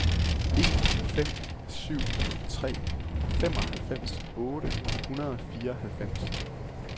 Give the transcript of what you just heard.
en fem syv tre femoghalvfems otte hundrede og fireoghalvfems